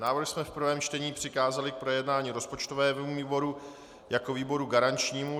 Návrh jsme v prvém čtení přikázali k projednání rozpočtovému výboru jako výboru garančnímu.